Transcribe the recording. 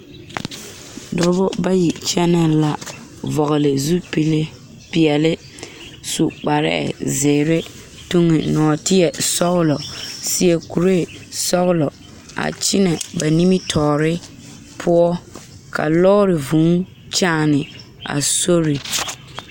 Dɔba bayi kyɛnɛ la vɔgele zupile peɛle su kparɛɛ zeere Yuri mɔɔtie sɔgelɔ seɛ kuree sɔgelɔ a kyɛnɛ ba nimitɔɔre poɔ ka lɔɔre vûū kyaane a sori